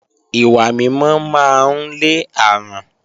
Ìwà mímọ́ máa ń lé àrùn